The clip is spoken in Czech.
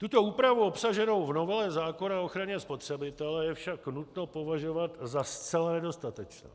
Tuto úpravu obsaženou v novele zákona o ochraně spotřebitele je však nutno považovat za zcela nedostatečnou.